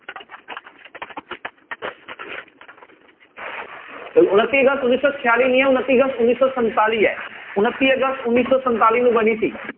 ਤੇ ਉਣੱਤੀ ਅਗਸਤ ਉੱਨੀ ਸੌ ਛਿਆਲੀ ਨੀ ਹੈ ਉਣੱਤੀ ਅਗਸਤ ਉੱਨੀ ਸੌ ਸੰਤਾਲੀ ਹੈ, ਉਣੱਤੀ ਅਗਸਤ ਉੱਨੀ ਸੌ ਸੰਤਾਲੀ ਨੂੰ ਬਣੀ ਸੀ।